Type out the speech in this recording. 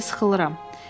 Buna görə də sıxılıram.